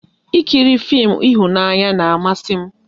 Ị kiri fim ịhụnanya na amasị m